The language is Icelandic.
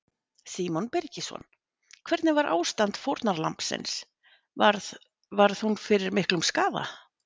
Símon Birgisson: Hvernig var ástand fórnarlambsins, varð, varð hún fyrir miklum skaða?